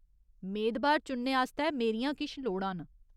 मेदबार चुनने आस्तै मेरियां किश लोड़ां न।